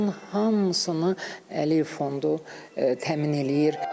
Onun hamısını Əliyev Fondu təmin eləyir.